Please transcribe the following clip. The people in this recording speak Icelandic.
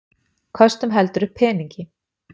Köstum heldur upp peningi.